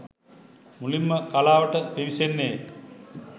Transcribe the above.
මුලින්ම කලාවට පිවිසෙන්නේ